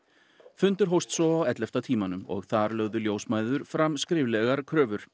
fundur hófst svo á ellefta tímanum þar lögðu ljósmæður fram skriflegar kröfur